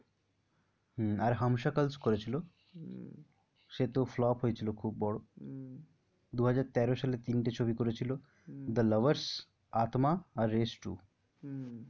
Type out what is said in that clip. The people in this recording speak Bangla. আর হামসকলস করেছিল হম সে তো flop হয়েছিল খুব বড় হম দুহাজার তেরো সালে তিনটি ছবি করেছিল হম দ্যা লাভার্স আত্মা আর রেস টু হম